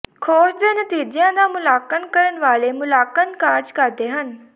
ਖੋਜ ਦੇ ਨਤੀਜਿਆਂ ਦਾ ਮੁਲਾਂਕਣ ਕਰਨ ਵਾਲੇ ਮੁਲਾਂਕਣ ਕਾਰਜ ਕਰਦੇ ਹਨ